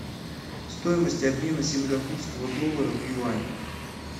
стоимость обмена сингапурского доллара в юань